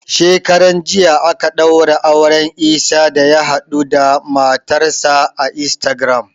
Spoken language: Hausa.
Shekaran jiya aka ɗaura auren Isah da ya haɗuda matar sa a Instagram